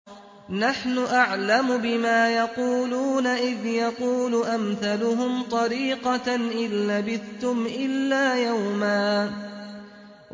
نَّحْنُ أَعْلَمُ بِمَا يَقُولُونَ إِذْ يَقُولُ أَمْثَلُهُمْ طَرِيقَةً إِن لَّبِثْتُمْ إِلَّا يَوْمًا